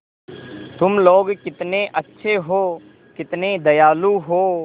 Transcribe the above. तुम लोग कितने अच्छे हो कितने दयालु हो